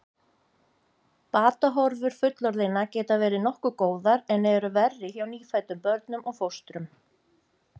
Batahorfur fullorðinna geta verið nokkuð góðar en eru verri hjá nýfæddum börnum og fóstrum.